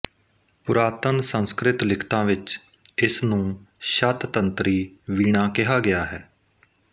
ਪੁਰਾਤਨ ਸੰਸਕ੍ਰਿਤ ਲਿਖਤਾਂ ਵਿੱਚ ਇਸਨੂੰ ਸ਼ਤ ਤੰਤਰੀ ਵੀਣਾ ਕਿਹਾ ਕਿਹਾ ਹੈ